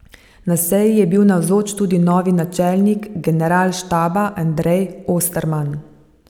Na seji je bil navzoč tudi novi načelnik generalštaba Andrej Osterman.